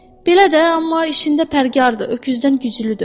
Belə də, amma işində fərkardır, öküzdən güclüdür.